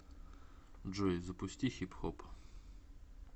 джой запусти хипхоп